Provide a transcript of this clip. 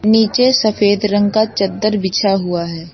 नीचे सफेद रंग का चद्दर बिछा हुआ है।